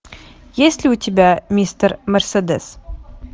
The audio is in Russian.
есть ли у тебя мистер мерседес